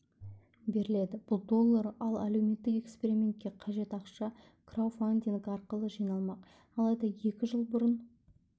беріледі бұл доллар ал әлеуметтік экспериментке қажет ақша крауфандинг арқылы жиналмақ алайда екі жыл бұрын